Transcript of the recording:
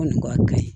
Kɔni a ka gɛlɛn